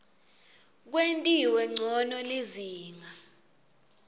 kwentiwe ncono lizinga